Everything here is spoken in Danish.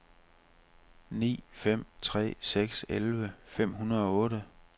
ni fem tre seks elleve fem hundrede og otte